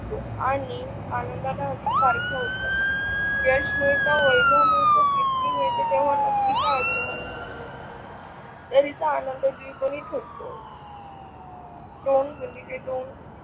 आणि आनंदाला पारख होत. यश मिळत, वैभव मिळत, कीर्ती मिळत तेव्हा नक्की काय होत चा आनंद द्विगुणित होतो. .